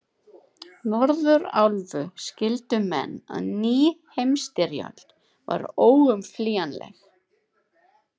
Norðurálfu, skildu menn, að ný heimsstyrjöld var óumflýjanleg.